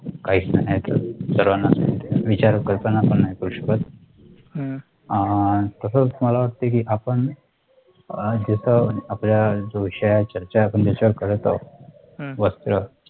काहीच नाही उरत सर्वांनाचं माहिती आहे विचार करताना पण नाही करू शकत आह तसाच मला वाटतं कि आपण जे पण आपला जो विषयांची चर्चा आपण त्याच्यावर करत आहोत वस्त्र